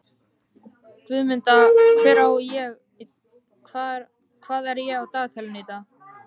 Guðmunda, hvað er á dagatalinu í dag?